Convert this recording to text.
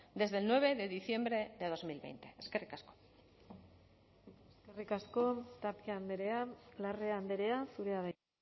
desde el nueve de diciembre de dos mil veinte eskerrik asko eskerrik asko tapia andrea larrea andrea zurea da hitza